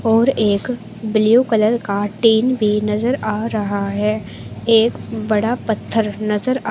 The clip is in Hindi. और एक ब्ल्यू कलर का टिन भी नजर आ रहा है एक बड़ा पत्थर नजर आ --